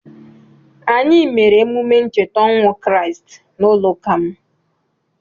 Anyị mere emume ncheta ọnwụ Kriisti n'ụlọụka m.